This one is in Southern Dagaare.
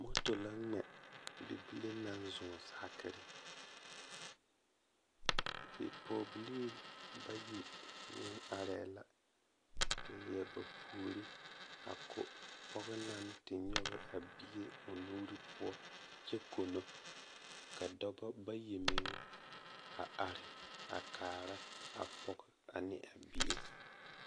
Moto la ŋmɛ bibile naŋ zɔɔ saakiri bipɔgebilii bayi meŋ arɛɛ la a leɛ ba puori a ko pɔge naŋ te nyɔge a bie o nuuri poɔ kyɛ kono ka dɔbɔ bayi meŋ a are a kaara a pɔge ne a bie.